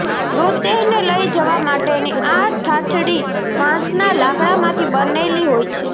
મૃતદેહને લઈ જવા માટેની આ ઠાઠડી વાંસના લાકડામાંથી બનેલી હોય છે